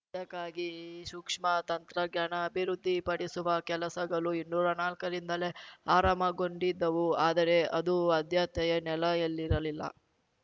ಇದಕ್ಕಾಗಿ ಸೂಕ್ಷ್ಮ ತಂತ್ರಗ್ಯಾನ ಅಭಿವೃದ್ಧಿಪಡಿಸುವ ಕೆಲಸಗಳು ಇನ್ನೂರಾ ನಾಲಕ್ಕರಿಂದಲೇ ಆರಂಮಗೊಂಡಿದ್ದವು ಆದರೆ ಅದು ಆದ್ಯತೆಯ ನೆಲೆಯಲ್ಲಿರಲಿಲ್ಲ